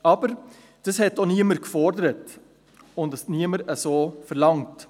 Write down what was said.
Aber dies hat auch niemand verlangt.